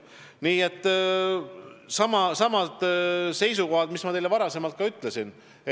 Nii et samad seisukohad, mis ma teile varem juba ütlesin.